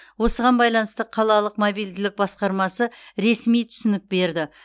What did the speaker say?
осыған байланысты қалалық мобильділік басқармасы ресми түсінік берді